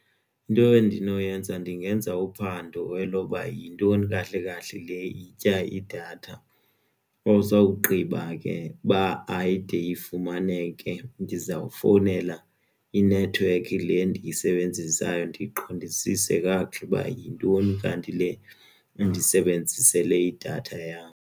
Into endinoyenza ndingenza uphando elokuba yintoni kahle kahle le itya idatha usawugqiba ke uba ayide ifumaneke ke ndizawufowunela inethiwekhi le ndiyisebenzisayo ndiqondisise kakuhle ukuba yintoni kanti le endisebenzisele idatha yam.